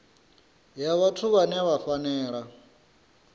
ya vhathu vhane vha fanela